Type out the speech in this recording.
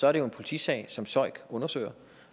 er det jo en politisag som søik undersøger